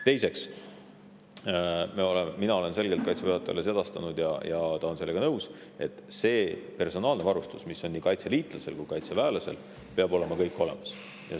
Teiseks, mina olen selgelt Kaitseväe juhatajale sedastanud ja ta on sellega nõus, et personaalne varustus, mida nii kaitseliitlasel kui ka kaitseväelasel, peab kõik olemas olema.